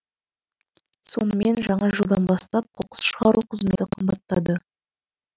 сонымен жаңа жылдан бастап қоқыс шығару қызметі қымбаттады